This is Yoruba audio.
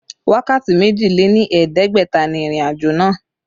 Wákàtí méjì lé ní ẹ̀ẹ́dẹ́gbẹ̀ta ni ìrìnàjò náà